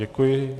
Děkuji.